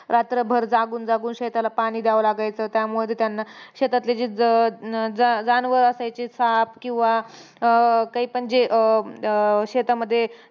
रात्रभर जागून-जागून शेताला पाणी द्यावं लागायचं. त्यामध्ये त्यांना शेतातले जे ज जानवर असायचे साप किंवा अं काहीपन जे, अं शेतामध्ये